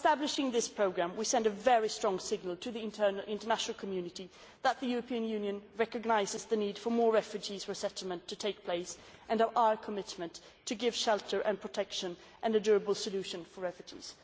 By establishing this programme, we are sending a very strong signal to the international community that the European Union recognises the need for more resettlement of refugees and of our commitment to give shelter and protection and a durable solution for refugees.